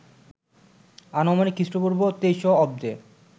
আনুমানিক খ্রিস্টপূর্ব ২৩০০ অব্দে